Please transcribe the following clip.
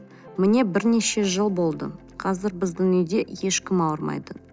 міне бірнеше жыл болды қазір біздің үйде ешкім ауырмайды